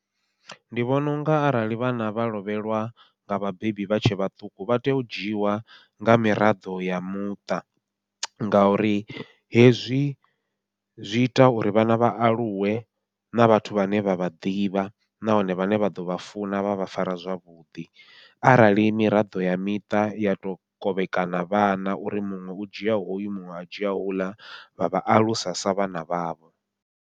Ndi vhona unga arali vhana vha lovhelwa nga vhabebi vha tshe vhaṱuku, vha tea u dzhiwa nga miraḓo ya muṱa. Ngauri hezwi zwi ita uri vhana vha aluwe na vhathu vhane vha vha ḓivha, nahone vhane vha ḓovha funa vha vha fara zwavhuḓi, arali miraḓo ya miṱa ya to kovhekana vhana uri muṅwe u dzhia hoyu muṅwe a dzhia uḽa vha vha alusa sa vhana vhavho.